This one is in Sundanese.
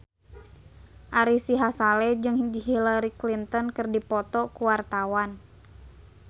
Ari Sihasale jeung Hillary Clinton keur dipoto ku wartawan